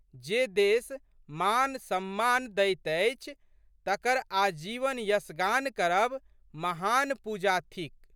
जे देश मान, सम्मान दैत अछि तकर आजीवन यशगान करब महान पूजा थिक।